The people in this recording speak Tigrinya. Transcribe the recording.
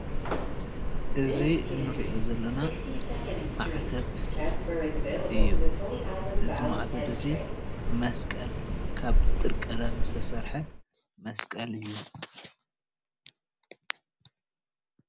እዚ እንሪኦ ዘለና ማዕተብ እዩ፣ እዚ ማዕተብ እዙይ መስቀል ካብ ጥርቀለም ዝተሰርሐ መስቀል እዩ፡፡